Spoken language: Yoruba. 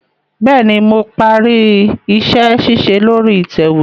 Bẹẹni, Mo pari iṣẹ-ṣiṣe lori itẹwe